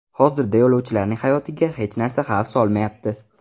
Hozirda yo‘lovchilarning hayotiga hech narsa xavf solmayapti.